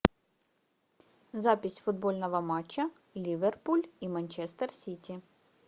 запись футбольного матча ливерпуль и манчестер сити